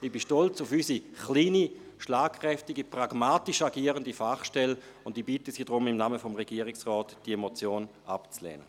Ich bin stolz auf unsere kleine, schlagkräftige, pragmatisch agierende Fachstelle, und ich bitte Sie deshalb im Namen des Regierungsrates, diese Motion abzulehnen.